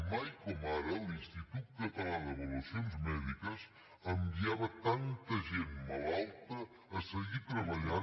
mai com ara l’institut català d’avaluacions mèdiques enviava tanta gent malalta a seguir treballant